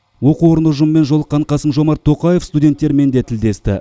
оқу орны ұжымымен жолыққан қасым жомарт тоқаев студенттермен де тілдесті